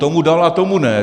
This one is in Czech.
Tomu dala, tomu ne.